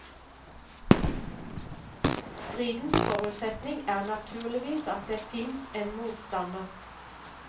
Stridens forutsetning er naturligvis at det fins en motstander.